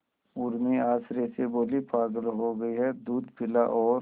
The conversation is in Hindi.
उर्मी आश्चर्य से बोली पागल हो गई है दूध पिला और